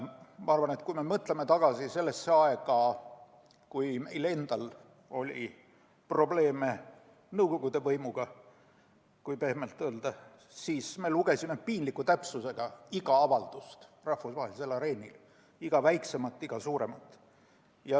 Ma arvan, et kui me mõtleme tagasi sellele ajale, kui meil endal oli probleeme nõukogude võimuga, kui pehmelt öelda, siis me lugesime piinliku täpsusega iga avaldust rahvusvahelisel areenil – iga väiksemat, iga suuremat.